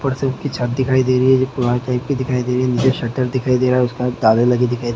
ऊपर से उसकी छत दिखाई दे रही है जो पुराने टाइप की दिखाई दे रही है नीचे सटर दिखाई दे रहा है उसका ताला लगे दिखाई देरहा